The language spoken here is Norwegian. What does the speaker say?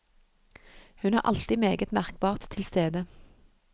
Hun er alltid meget merkbart til stede.